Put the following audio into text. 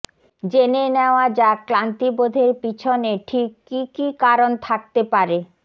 জেনে নেওয়া যাক ক্লান্তি বোধের পিছনে ঠিক কী কী কারণ থাকতে পারে